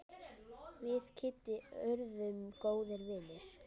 Við Kiddi urðum góðir vinir.